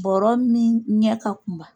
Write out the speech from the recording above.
Bɔrɔ min ɲɛ ka kunba